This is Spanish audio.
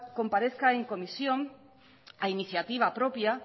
comparezca en comisión a iniciativa propia